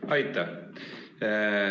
Aitäh!